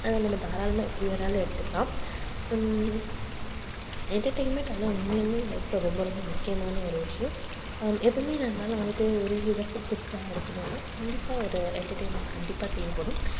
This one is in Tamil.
உம் நம்ம தாராளமா எப்படி வேணாலும் எடுத்துக்கலாம். உம் entertainment ஆனா உண்மையாலுமே life ல ரொம்ப ரொம்ப முக்கியமான ஒரு விஷயம் அஹ் எப்பவுமே நம்மளால வந்துட்டு ஒரே இதா focused ஆ இருக்கணும்னா கண்டிப்பா ஒரு entertainment கண்டிப்பா தேவைப்படும்